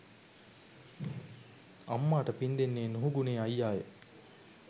අම්මාට පිං දෙන්නේ නුහුගුණේ අයියාය.